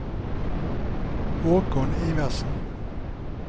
Haakon Iversen